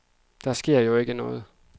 Der sker jo ikke noget.